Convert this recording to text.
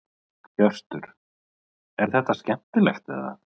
Hjörtur: Er þetta skemmtilegt eða?